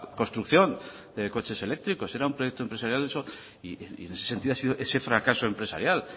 construcción de coches eléctricos era un proyecto empresarial y en ese sentido ha sido ese fracaso empresarial